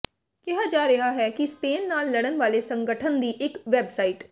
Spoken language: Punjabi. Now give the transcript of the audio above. ਕਿਹਾ ਜਾ ਰਿਹਾ ਹੈ ਕਿ ਸਪੇਨ ਨਾਲ ਲੜਨ ਵਾਲੇ ਸੰਗਠਨ ਦੀ ਇਕ ਵੈਬਸਾਈਟ